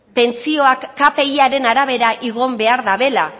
pentsioak kpiaren arabera igo behar dabela